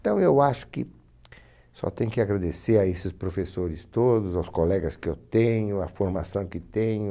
Então, eu acho que só tenho que agradecer a esses professores todos, aos colegas que eu tenho, à formação que tenho.